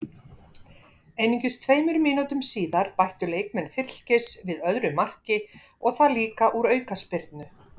Einungis tveimur mínútum síðar bættu leikmenn Fylkis við öðru marki og það líka úr aukaspyrnu.